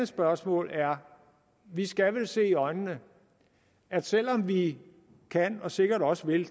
spørgsmål vi skal vel se i øjnene at selv om vi kan og sikkert også vil